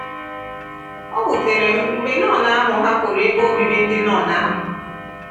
O wutere m mgbe nọn ahụ hapụrụ ebe obibi ndị nọn ahụ.